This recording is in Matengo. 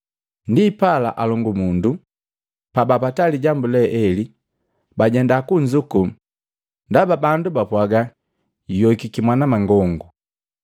Ndipala, alongumundu pabapata lijambu le ele bajenda kunzuku ndaba bandu bapwaaga, “Juyowiki mwanamangongu.”